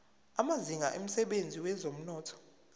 amazinga emsebenzini wezomnotho